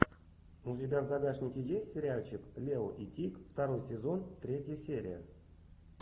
у тебя в загашнике есть сериальчик лео и тиг второй сезон третья серия